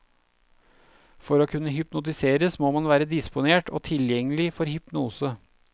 For å kunne hypnotiseres må man være disponert og tilgjengelig for hypnose.